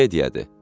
Qəmediyadır.